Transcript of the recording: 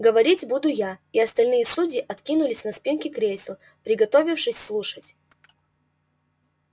говорить буду я и остальные судьи откинулись на спинки кресел приготовившись слушать